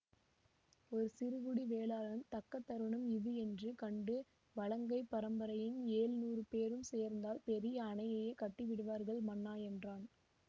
ஒரு சிறுகுடி வேளாளன் தக்க தருணம் இது என்று கண்டு வலங்கை பரம்பரையின் எழுநூறு பேரும் சேர்ந்தால் பெரிய அணையையே கட்டிவிடுவார்கள் மன்னா என்றான்